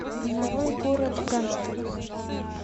нарой город гангстеров